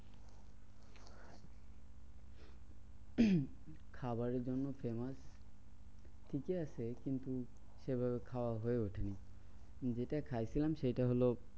খাবারের জন্যে famous ঠিকই আছে কিন্তু সেভাবে খাওয়া হয়ে ওঠেনি। যেটা খাইছিলাম সেটা হলো